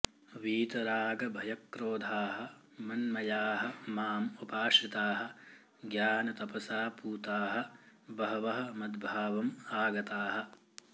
वीतरागभयक्रोधाः मन्मयाः माम् उपाश्रिताः ज्ञानतपसा पूताः बहवः मद्भावम् आगताः